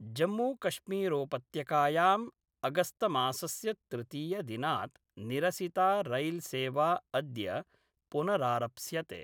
जम्मूकश्मीरोपत्यकायाम् अगस्तमासस्य तृतीयदिनात् निरसिता रैल्सेवा अद्य पुनरारप्स्यते।